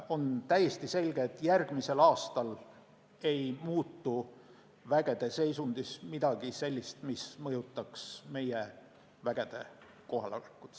On täiesti selge, et järgmisel aastal ei muutu vägede seisundis midagi sellist, mis mõjutaks meie vägede kohalolekut.